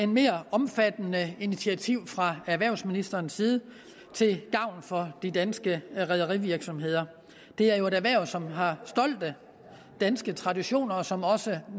mere omfattende initiativ fra erhvervsministerens side til gavn for de danske rederivirksomheder det er jo et erhverv som har stolte danske traditioner og som også